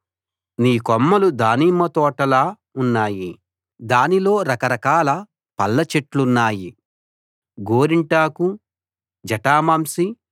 నీ కొమ్మలు దానిమ్మతోటలా ఉన్నాయి దానిలో రక రకాల పళ్ళ చెట్లున్నాయి గోరింటాకు జటామాంసి